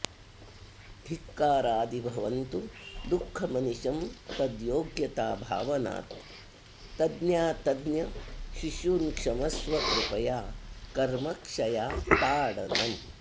धिक्कारादि भवन्तु दुःखमनिशं तद्योग्यता भावनात् तज्ञातज्ञ शिशून्क्षमस्व कृपया कर्मक्षया ताडनम्